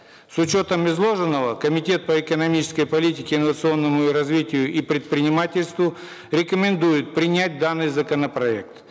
с учетом изложенного комитет по экономической политике инновационному развитию и предпринимательству рекомендует принять данный законопроект